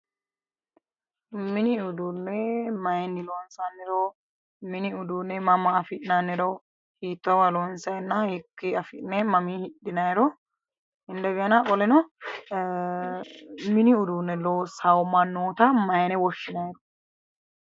Mini uduunne mayiinni lonsanniro mini uduunne mama afi'nanniro hiittoowa lonsayinna hiiki afi'ne mami hidhinayiro indegena qoleno mini uduunne loossawo mannoota mayine woshinayiro